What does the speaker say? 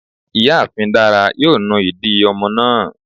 Ìyáàfín Dara yóò nù idì ọmọ náà